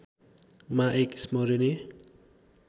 मा एक स्मरणीय